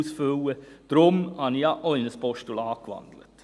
Deshalb habe ich ja auch in ein Postulat gewandelt.